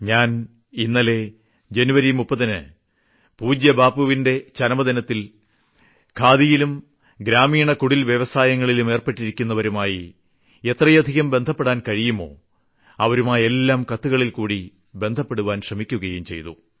ഞാൻ ഇന്നലെ ജനുവരി 30ന് പൂജ്യബാപ്പുവിന്റെ ചരമദിനത്തിൽ ഖാദിയിലും ഗ്രാമീണ കുടിൽ വ്യവസായങ്ങളിലും ഏർപ്പെട്ടവരുമായി എത്രയധികം ബന്ധപ്പെടുവാൻ കഴിയുമോ അവരുമായെല്ലാം കത്തുകളിൽക്കൂടി ബന്ധപ്പെടുവാൻ ശ്രമിക്കുകയും ചെയ്തു